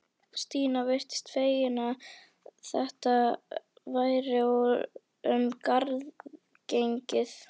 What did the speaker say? Stína virtist fegin að þetta væri um garð gengið.